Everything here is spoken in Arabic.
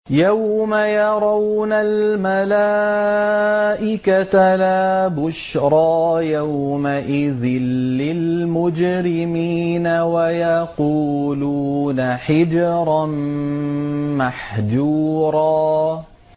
يَوْمَ يَرَوْنَ الْمَلَائِكَةَ لَا بُشْرَىٰ يَوْمَئِذٍ لِّلْمُجْرِمِينَ وَيَقُولُونَ حِجْرًا مَّحْجُورًا